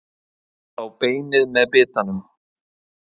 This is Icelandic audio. Að fá beinið með bitanum